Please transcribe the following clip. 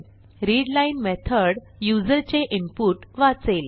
readline method युजरचे input वाचेल